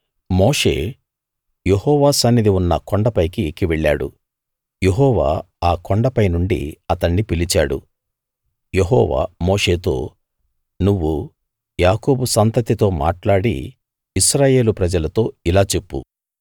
మోషే యెహోవా సన్నిధి ఉన్న కొండపైకి ఎక్కి వెళ్ళాడు యెహోవా ఆ కొండపై నుండి అతణ్ణి పిలిచాడు యెహోవా మోషేతో నువ్వు యాకోబు సంతతితో మాట్లాడి ఇశ్రాయేలు ప్రజలతో ఇలా చెప్పు